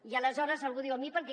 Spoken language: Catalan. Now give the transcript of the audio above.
i aleshores algú diu a mi per què